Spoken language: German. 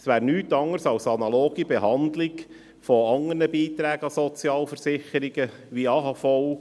Es wäre nichts anderes als eine analoge Behandlung anderer Beiträge an die Sozialversicherungen, wie etwa die AHV.